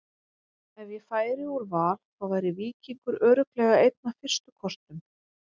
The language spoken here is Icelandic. Ef ég færi úr Val þá væri Víkingur örugglega einn af fyrstu kostum.